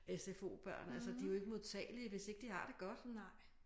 Sfo-børn altså de jo ikke modtagelige hvis ikke de har det godt